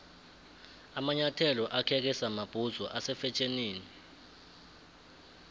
amanyathelo akheke samabhudzu ase fetjhenini